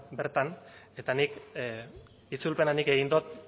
bertan eta nik itzulpena nik egin dut